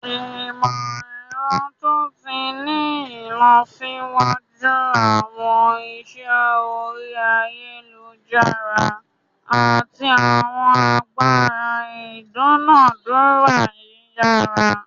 Imọ-ẹrọ to ti ni ilọsiwaju, awọn iṣẹ ori ayelujara, ati awọn agbara idunadura yiyara.